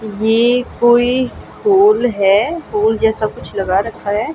ये कोई होल है। होल जैसा कुछ लगा रखा है।